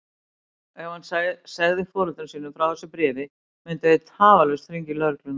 Ef hann segði foreldrum sínum frá þessu bréfi myndu þeir tafarlaust hringja í lögregluna.